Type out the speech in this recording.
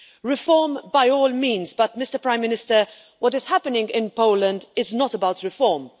Reform by all means but, Prime Minister, what is happening in Poland is not about reform